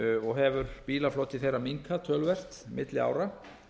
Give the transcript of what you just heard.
og hefur bílafloti þeirra minnkað töluvert milli ára